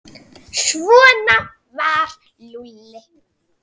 Svona var Lúlli.